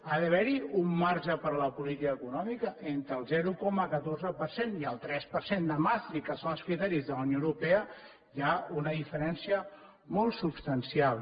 ha d’haver hi un marge per a la política econòmica entre el zero coma catorze per cent i el tres per cent de maastricht que són els criteris de la unió europea hi ha una diferència molt substancial